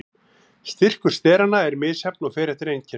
Styrkur steranna er misjafn og fer eftir einkennum.